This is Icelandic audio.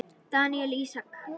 Daníel Ísak.